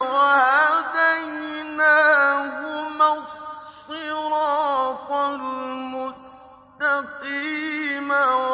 وَهَدَيْنَاهُمَا الصِّرَاطَ الْمُسْتَقِيمَ